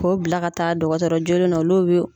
Ko bila ka taa dɔgɔtɔrɔ joolen na olu bɛ